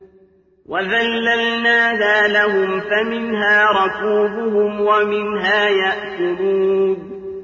وَذَلَّلْنَاهَا لَهُمْ فَمِنْهَا رَكُوبُهُمْ وَمِنْهَا يَأْكُلُونَ